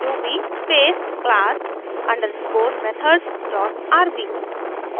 ruby space class underscore methods dot rb